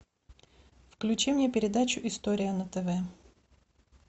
включи мне передачу история на тв